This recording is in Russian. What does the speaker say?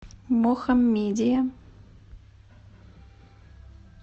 мохаммедия